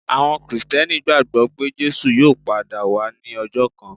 Àwọn Kìrìsìtíẹ́nì gbagbọ pe Jesu yóò pada wa ni ọjọ kan.